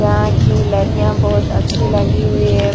यहां की लाड़िया बहुत ही अच्छी लगी हुई हैं।